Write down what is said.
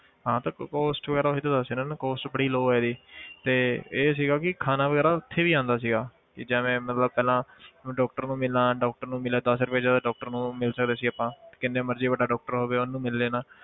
ਹਾਂ ਤਾਂ ਕ~ cost ਵਗ਼ੈਰਾ ਉਹੀ ਤਾਂ ਦੱਸ ਰਿਹਾਂ ਨਾ cost ਬੜੀ low ਹੈ ਇਹਦੀਤੇ ਇਹ ਸੀਗਾ ਕਿ ਖਾਣਾ ਵਗ਼ੈਰਾ ਉੱਥੇ ਵੀ ਆਉਂਦਾ ਸੀਗਾ ਕਿ ਜਿਵੇਂ ਮਤਲਬ ਪਹਿਲਾਂ ਮੈਂ doctor ਨੂੰ ਮਿਲਾਂ doctor ਨੂੰ ਮਿਲੇ ਦਸ ਰੁਪਏ 'ਚ doctor ਨੂੰ ਮਿਲ ਸਕਦੇ ਸੀ ਆਪਾਂ ਕਿੰਨੇ ਮਰਜ਼ੀ ਵੱਡਾ doctor ਹੋਵੇ ਉਹਨੂੰ ਮਿਲ ਲੈਣਾ।